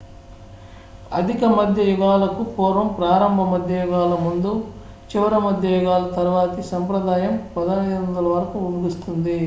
అధిక మధ్య యుగాలకు పూర్వం ప్రారంభ మధ్య యుగాల ముందు చివరి మధ్య యుగాల తరువాతి సంప్రదాయం 1500 వరకు ముగుస్తుంది